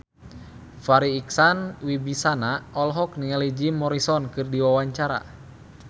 Farri Icksan Wibisana olohok ningali Jim Morrison keur diwawancara